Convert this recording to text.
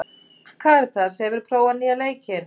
Karitas, hefur þú prófað nýja leikinn?